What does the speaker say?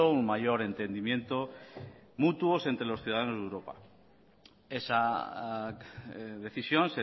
un mayor entendimiento mutuos entre los ciudadanos de europa esa decisión